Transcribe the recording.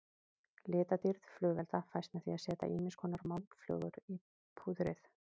Litadýrð flugelda fæst með því að setja ýmiskonar málmflögur í púðrið.